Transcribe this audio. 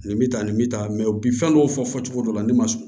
Nin bɛ tan nin bɛ tan mɛ u bɛ fɛn dɔw fɔ fɔ cogo dɔ la ne ma sɔn